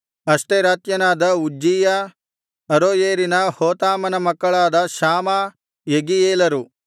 ಅಷ್ಟೆರಾತ್ಯನಾದ Uzziah ಅರೋಯೇರಿನ ಹೋತಾಮನ ಮಕ್ಕಳಾದ ಶಾಮಾ ಯೆಗೀಯೇಲರು